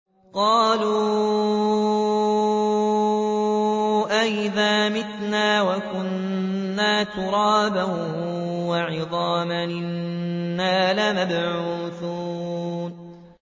قَالُوا أَإِذَا مِتْنَا وَكُنَّا تُرَابًا وَعِظَامًا أَإِنَّا لَمَبْعُوثُونَ